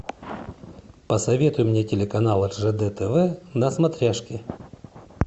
посоветуй мне телеканал ржд тв на смотрешке